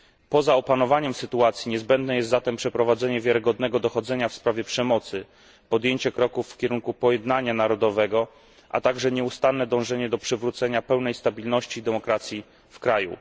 Poza opanowaniem sytuacji, niezbędne jest przeprowadzenie wiarygodnego dochodzenia w sprawie przemocy, podjęcie kroków w kierunku pojednania narodowego, a także nieustanne dążenie do przywrócenia pełnej stabilności i demokracji w kraju.